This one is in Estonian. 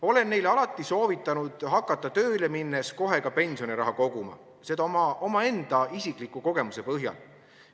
Olen neile alati soovitanud hakata tööle minnes kohe pensioniraha koguma, seda omaenda isikliku kogemuse põhjal.